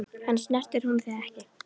En snertir hún þig ekki?